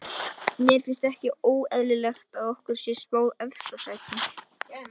Mér finnst ekki óeðlilegt að okkur sé spáð efsta sæti.